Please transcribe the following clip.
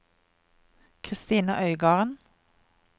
Christina Øygarden